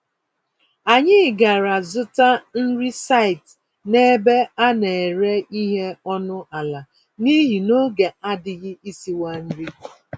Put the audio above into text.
Anyị gàrà zụta nri site n'ebe a nere ìhè ọnụ àlà, n'ihi n'oge adịghị isiwa nri